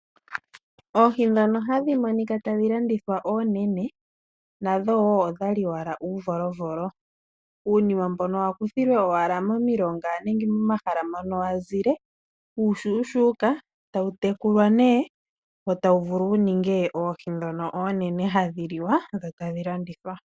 Oohi ndhono hadhi monika tadhi landithwa oonene. Nadho woo odhali owala uuvolovolo. Uunima mbono wa kuthilwe owala momilonga nenge momahala mono wazile uushuushuuka etawu tekulwa nee. Wo tawu vulu wu ninge oohi ndhono oonene hadhi liwa dho tadhi landithwa.